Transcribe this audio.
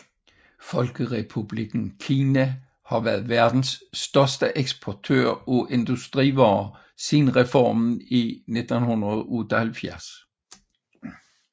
Folkerepublikken Kina har været verdens største eksportør af industrivarer siden reformen i 1978